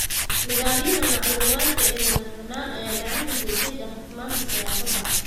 Nidaamyada macluumaadka ee madax-bannaan ayaa gacan ka geysta daahfurnaanta siyaasadda.